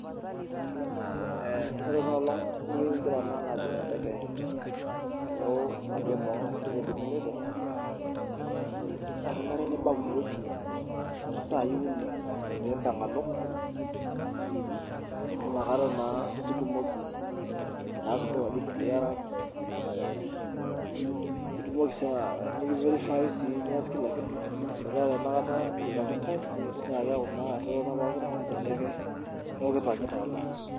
Eh ore enolong niu ingira naa alo ajing enteke alo inkuapi eboo ashu ewueji niloito naa kenare nibau inewueji eng'orr isai uni peimpang alo amu inakata naa itumoki ataasa entoki naji clearance eh itumoki sii uh nikiverifae sii nias kila kitu metaa ore enakata ipang'itae ni naa keeku naa etotona poki tung'ani tenteke neeku kipang'ita alo.